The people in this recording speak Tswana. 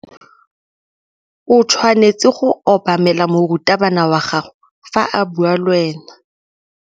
O tshwanetse go obamela morutabana wa gago fa a bua le wena.